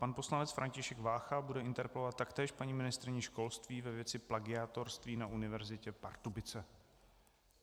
Pan poslanec František Vácha bude interpelovat taktéž paní ministryni školství ve věci plagiátorství na Univerzitě Pardubice.